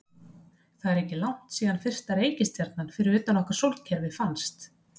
Það er ekki langt síðan fyrsta reikistjarnan fyrir utan okkar sólkerfi fannst.